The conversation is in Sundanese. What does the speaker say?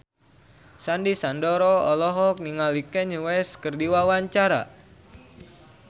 Sandy Sandoro olohok ningali Kanye West keur diwawancara